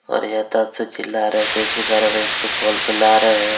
ओर यताच चिल्ला रहे थे इसी कारण इसको खोल के ला रहे हैं।